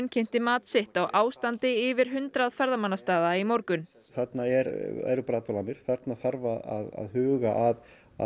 kynnti mat sitt á ástandi yfir hundrað ferðamannastaða í morgun þarna eru brotalamir þarna þarf að huga að